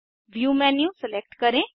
view menu select करें